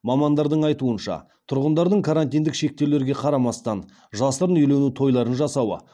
мамандардың айтуынша тұрғындардың карантиндік шектеулерге қарамастан жасырын үйлену тойларын жасауы